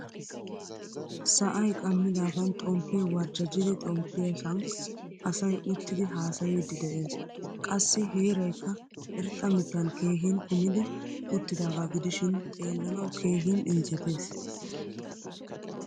Sa'aay qamidagan xomppe warjjajidi xomppiyosan asay uttidi haasayidi de'ees. Qassi heeraykka irxxa mittan keehin kumidi uttidaga gidishin xeelanawu keehin injjettees.